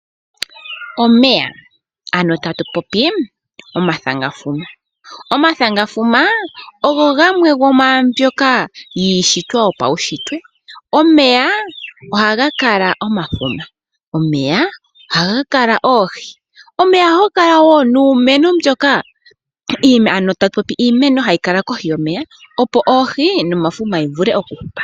Omeya tatu popi omathanga fuma, omathanga fuma ogo gamwe gomwambyoka yishitwa yopaushitwe omeya ohaga kala omafuma, omeya ohaga kala oohi niimeno mbyoka hayi kala kohi yomeya opo oohi nomafuma yi vule oku hupa.